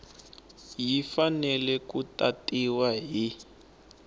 yi fanele ku tatiwa hi